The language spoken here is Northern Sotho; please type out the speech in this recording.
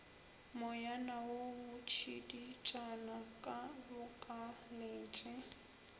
moyana wo botšiditšana ke bokaletše